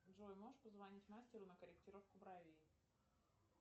джой можешь позвонить мастеру на корректировку бровей